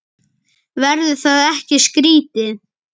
Verður það ekki skrítið?